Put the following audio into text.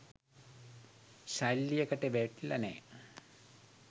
ශෛලියකට වැටිල නෑ.